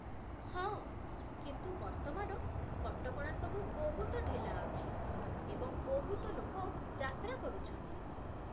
ହଁ, କିନ୍ତୁ ବର୍ତ୍ତମାନ କଟକଣା ସବୁ ବହୁତ ଢିଲା ଅଛି ଏବଂ ବହୁତ ଲୋକ ଯାତ୍ରା କରୁଛନ୍ତି।